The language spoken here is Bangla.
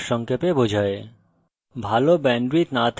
এটি কথ্য tutorial প্রকল্পকে সারসংক্ষেপে বোঝায়